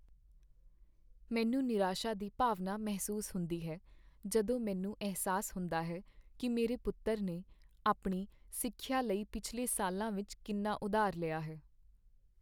ਮੈਨੂੰ ਨਿਰਾਸ਼ਾ ਦੀ ਭਾਵਨਾ ਮਹਿਸੂਸ ਹੁੰਦੀ ਹੈ ਜਦੋਂ ਮੈਨੂੰ ਅਹਿਸਾਸ ਹੁੰਦਾ ਹੈ ਕੀ ਮੇਰੇ ਪੁੱਤਰ ਨੇ ਆਪਣੀ ਸਿੱਖਿਆ ਲਈ ਪਿਛਲੇ ਸਾਲਾਂ ਵਿਚ ਕਿੰਨਾ ਉਧਾਰ ਲਿਆ ਹੈ।